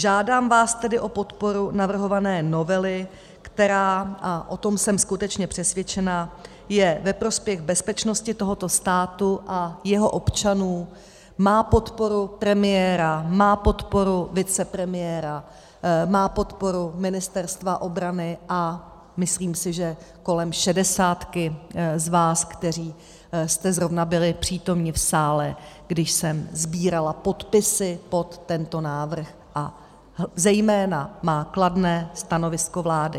Žádám vás tedy o podporu navrhované novely, která, a o tom jsem skutečně přesvědčena, je ve prospěch bezpečnosti tohoto státu a jeho občanů, má podporu premiéra, má podporu vicepremiéra, má podporu Ministerstva obrany, a myslím si, že kolem šedesátky z vás, kteří jste zrovna byli přítomni v sále, když jsem sbírala podpisy pod tento návrh, a zejména má kladné stanovisko vlády.